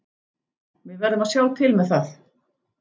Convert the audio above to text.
Við verðum að sjá til með það.